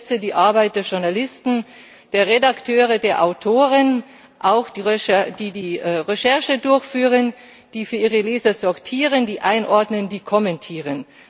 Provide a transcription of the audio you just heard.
Ich schätze die Arbeit der Journalisten, der Redakteure, der Autoren, auch derer, die Recherche durchführen, die für ihre Leser sortieren, die einordnen, die kommentieren.